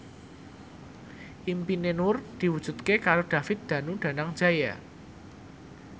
impine Nur diwujudke karo David Danu Danangjaya